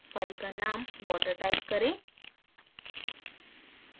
file का name water type करें